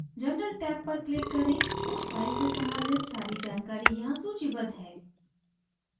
general tab पर click करें उस file से सम्बंधित सारी जानकारी यहाँ सूचीबद्ध है